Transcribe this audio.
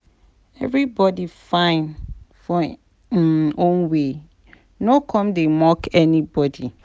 Everybody fine for em own way, no come dey mock anybody